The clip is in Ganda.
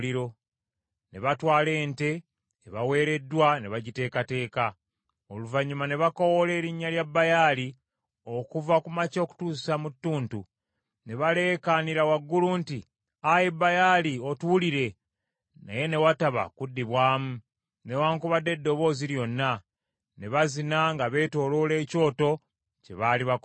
Ne batwala ente ebaweereddwa ne bagiteekateeka. Oluvannyuma ne bakoowoola erinnya lya Baali okuva ku makya okutuusa mu ttuntu. Ne baleekaanira waggulu nti, “Ayi Baali, otuwulire!” Naye ne wataba kuddibwamu, newaakubadde eddoboozi lyonna. Ne bazina nga beetooloola ekyoto kye baali bakoze.